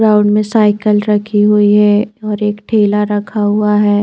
Ground मे cycle रखी हुई है और एक ठेला रखा हुआ है।